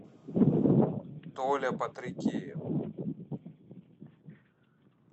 толя потрекеев